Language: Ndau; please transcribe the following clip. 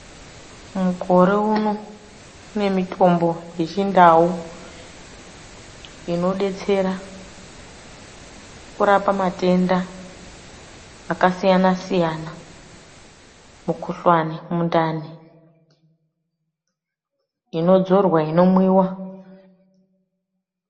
Mukore uno kune mitombo yechindau inobetsera kurapa matenda akasiyana-siyana. Mukuhlani mundani, inodzorwa, inomwiva.